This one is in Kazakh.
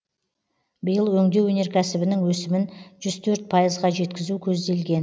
биыл өңдеу өнеркәсібінің өсімін жүз төрт пайызға жеткізу көзделген